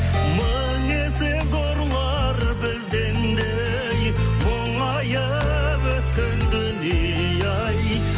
мың есе зорлар бізден де ей мұңайып өткен дүние ай